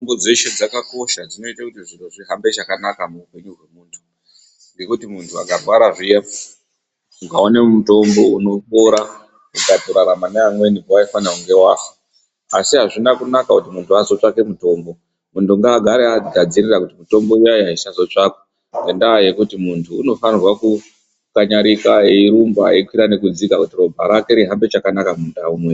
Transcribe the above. Mitombo dzeshe dzakakosha dzinoite kuti zviro zvihambe chakanaka muhupenyu wemuntu ngekuti muntu akarwara zviya ukaone mutombo unopora ukatorarama neamweni pawaifane kunge wafa, asi azvina kunaka kuti muntu atsvake mutombo muntu ngaagare agadzirira kuti mitombo iyaiya isazotsvakwa ngendaa yekuti muntu unofanirwa kukanyarika erumba ekwira nekudzika kuti ropa rake rihambe chakanaka.....